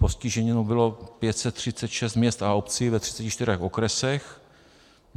Postiženo bylo 536 měst a obcí ve 34 okresech.